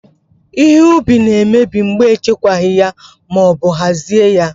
Ihe ubi na emebi mgbe e chekwaghị ya ma ọbụ hazie ya